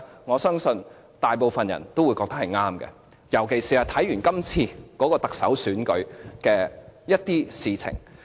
我相信大部分人也覺得當年的決定是正確，尤其是看到今次特首選舉的某些事情。